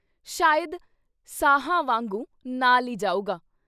ਸ਼ਾਇਦ ਸਾਹਾਂ ਵਾਂਗੂ ਨਾਲ ਈ ਜਾਊਗਾ।